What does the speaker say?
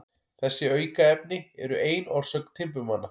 Þessi aukaefni eru ein orsök timburmanna.